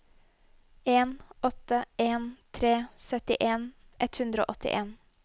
en åtte en tre syttien ett hundre og åttien